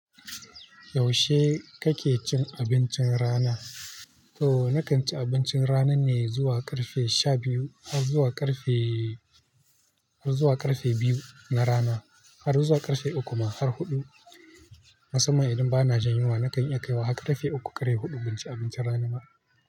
Yaushe kake cin abincin rana? To na kan ci abincin rana ne zuwa ƙarfe sha biyu har zuwa ƙarfe, har zuwa ƙarfe biyu na rana har zuwa ƙarfe uku ma har huɗu. Musamman idan ba na jin yunwa, na kan iya kaiwa har ƙarfe uku ƙarfe huɗu banci abincin rana ba.